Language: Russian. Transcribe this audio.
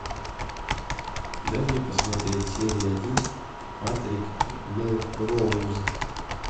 дай мне посмотреть серия один патрик мелроуз